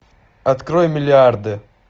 открой миллиарды